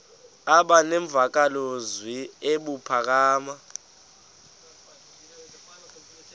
aba nemvakalozwi ebuphakama